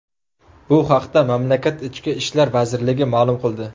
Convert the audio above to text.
Bu haqda mamlakat Ichki ishlar vazirligi ma’lum qildi .